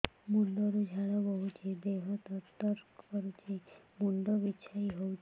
ମୁଣ୍ଡ ରୁ ଝାଳ ବହୁଛି ଦେହ ତର ତର କରୁଛି ମୁଣ୍ଡ ବିଞ୍ଛାଇ ହଉଛି